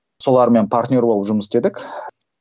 солармен партнер болып жұмыс істедік